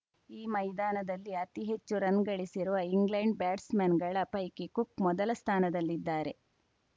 ಈ ಮೈದಾನದಲ್ಲಿ ಅತಿಹೆಚ್ಚು ರನ್‌ ಗಳಿಸಿರುವ ಇಂಗ್ಲೆಂಡ್‌ ಬ್ಯಾಟ್ಸ್‌ಮನ್‌ಗಳ ಪೈಕಿ ಕುಕ್‌ ಮೊದಲ ಸ್ಥಾನದಲ್ಲಿದ್ದಾರೆ